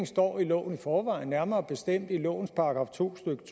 står i loven i forvejen nærmere bestemt i lovens § to stykke